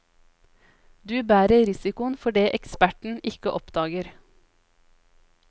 Du bærer risikoen for det eksperten ikke oppdager.